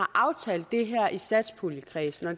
aftalte det her i satspuljekredsen og